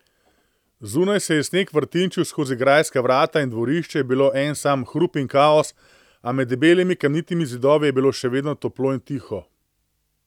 Zunaj se je sneg vrtinčil skozi grajska vrata in dvorišče je bilo en sam hrup in kaos, a med debelimi kamnitimi zidovi je bilo še vedno toplo in tiho.